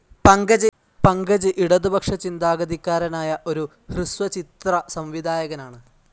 പങ്കജ് ഇടതുപക്ഷ ചിന്താഗതിക്കാരനായ ഒരു ഹ്രസ്വചിത്ര സംവിധായകനാണ്.